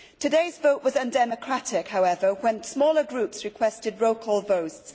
Today's vote was undemocratic, however, when smaller groups requested roll call votes.